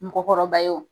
Mɔgɔkɔrɔba ye o